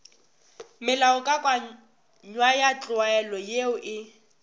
melaokakanywa ya tlwaelo ye e